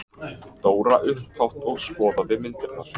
Dóra upphátt og skoðaði myndirnar.